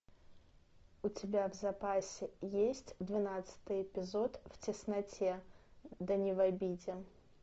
у тебя в запасе есть двенадцатый эпизод в тесноте да не в обиде